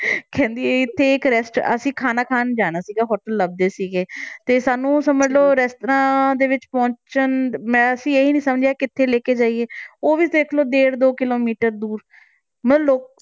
ਕਹਿੰਦੀ ਇੱਥੇ ਇੱਕ rest~ ਅਸੀਂ ਖਾਣਾ ਖਾਣ ਜਾਣਾ ਸੀਗਾ hotel ਲੱਭਦੇ ਸੀਗੇ ਤੇ ਸਾਨੂੰ ਸਮਝ ਲਓ restaurant ਵਿੱਚ ਪਹੁੰਚਣ, ਮੈਂ ਅਸੀਂ ਇਹ ਹੀ ਨੀ ਸਮਝਿਆ ਕਿੱਥੇ ਲੈ ਕੇ ਜਾਈਏ, ਉਹ ਵੀ ਦੇਖ ਲਓ ਡੇਢ ਦੋ ਕਿੱਲੋਮੀਟਰ ਦੂਰ ਮਤਲਬ ਲੋਕ